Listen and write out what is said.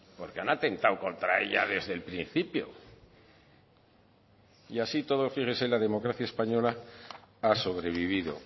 porque han atentado contra ella desde el principio y así y todo fíjese la democracia española ha sobrevivido